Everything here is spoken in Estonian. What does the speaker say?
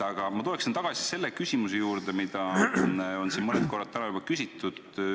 Aga ma tulen tagasi küsimuse juurde, mida on siin mõned korrad täna juba küsitud.